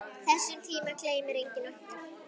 Þessum tíma gleymir enginn okkar.